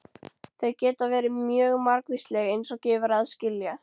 Þau geta verið mjög margvísleg eins og gefur að skilja.